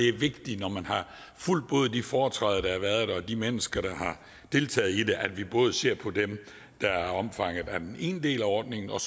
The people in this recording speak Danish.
er vigtigt når man har fulgt både de foretræder der har været og de mennesker der har deltaget i dem at vi både ser på dem der er omfattet af den ene del af ordningen og